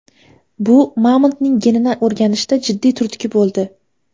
Bu mamontning genini o‘rganishda jiddiy turtki bo‘ldi.